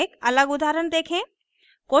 एक अलग उदाहरण देखें